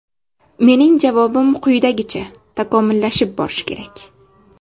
Mening javobim quyidagicha: takomillashib borish kerak.